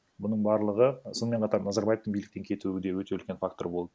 бұның барлығы сонымен қатар назарбаевтың биліктен кетуі де өте үлкен фактор болды